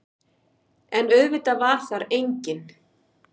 En auðvitað var þar enginn.